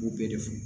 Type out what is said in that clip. U bɛɛ de fɔ